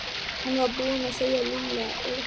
Hann var búinn að segja Lúlla og